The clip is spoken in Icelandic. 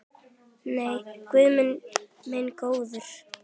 Nei, guð minn góður.